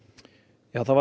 já það var